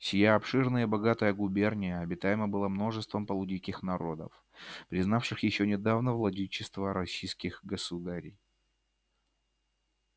сия обширная и богатая губерния обитаема была множеством полудиких народов признавших ещё недавно владычество российских государей